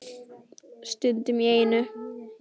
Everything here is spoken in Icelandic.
Stundum í einu.